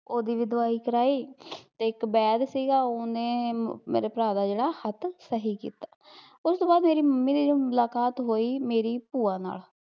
ਓਹਦੀ ਵੀ ਦਵਾਈ ਕਰਾਈ, ਤੇ ਇੱਕ ਬੈਗ ਸੀਗਾ ਤੇ ਉਹ ਉਹਨੇ ਮੇਰੇ ਭਰਾ ਦਾ ਜਿਹੜਾ ਹੱਥ ਸਹੀ ਕੀਤਾ, ਉਸਤੋਂ ਬਾਦ ਮੇਰੀ ਮੰਮੀ ਦੀ ਜਦੋਂ ਮੁਲਾਕਾਤ ਹੋਈ ਮੇਰੀ ਭੂਆ ਨਾਲ਼